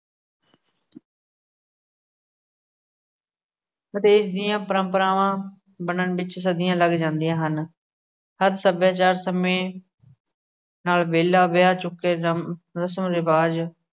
ਉਤੇਜ ਦੀਆਂ ਪ੍ਰੰਪਰਾਵਾ ਬਣਨ ਵਿੱਚ ਸਦੀਆਂ ਲੱਗ ਜਾਂਦੀਆਂ ਹਨ। ਹਰ ਸੱਭਿਆਚਾਰ ਸਮੇਂ ਨਾਲ ਬੇਲਾ ਵਿਆਹ ਚੁੱਕੇ ਗ਼ਮ ਰਸਮ-ਰਿਵਾਜ